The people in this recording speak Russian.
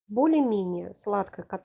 более менее сладкое